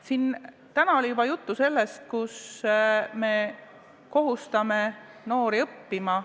Siin oli täna juba juttu sellest, et me kohustame noori õppima.